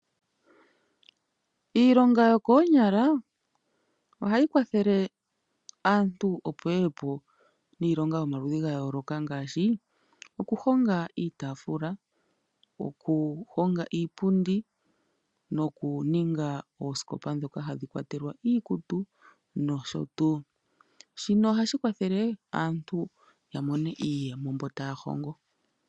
Iilonga yokoonyala ohayi kwathele aantu opo ye ye po niilonga yomaludhi ga yooloka ngaashi okuhonga iitaafula okuhonga iipundi nokuninga oosikopa ndhoka hadhi kwatelwaviikutu nosho tuu, shino ohashi kwathele aantu mbo taya hongo ya mone iiyemo.